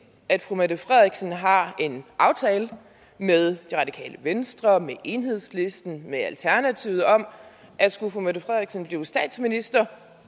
at fru mette frederiksen har en aftale med det radikale venstre med enhedslisten med alternativet om at skulle fru mette frederiksen blive statsminister